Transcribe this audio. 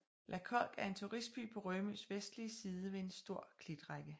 Lakolk er en turistby på Rømøs vestlige side ved en stor klitrække